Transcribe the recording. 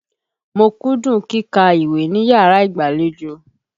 Mo kúndùn kíkàwé níyàrá ìgbàlejò.